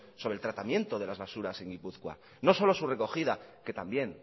sobre el tratamiento de las basuras en guipúzcoa no solo su recogida que también